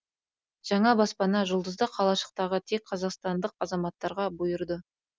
жаңа баспана жұлдызды қалашықтағы тек қазақстандық азаматтарға бұйырды